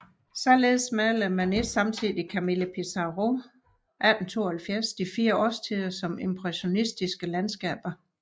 Således malede Manets samtidige Camille Pissarro 1872 de fire årstider som impressionistiske landskaber